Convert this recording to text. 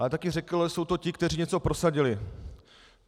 Ale taky řekl, že jsou to ti, kteří něco prosadili.